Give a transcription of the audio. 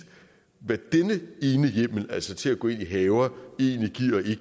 hvad denne ene hjemmel altså til at gå ind i haver egentlig